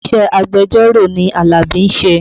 Iṣẹ́ agbẹjọ́rò ni Alabi ń ṣe